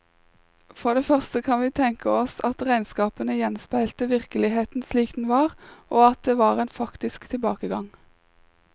For det første kan vi tenke oss at regnskapene gjenspeilte virkeligheten slik den var, og at det var en faktisk tilbakegang.